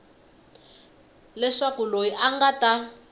leswaku loyi a nga ta